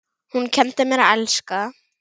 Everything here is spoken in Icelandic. Hún kenndi mér að elska.